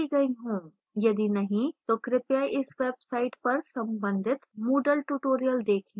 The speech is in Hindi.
यदि नहीं तो कृपया इस website पर संबंधित moodle tutorials देखें